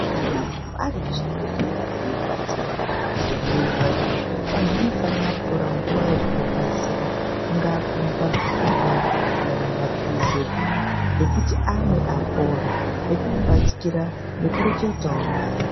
Kana munhu arimuchibhedhkera eirwadziwa nemiri wake vanhu vanofanira kutora nguwa yekumubaysira kungaakumupa zvekurya kana maphirizi eku ekuti amwe apore nekumubatikira nekureketawo naye.